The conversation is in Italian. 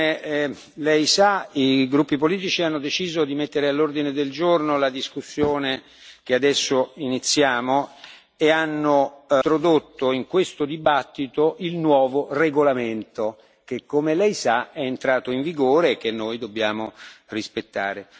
Gollnisch, come lei sa i gruppi politici hanno deciso di mettere all'ordine del giorno la discussione che adesso iniziamo e hanno introdotto in questa discussione il nuovo regolamento, che come lei sa è entrato in vigore e che noi dobbiamo rispettare.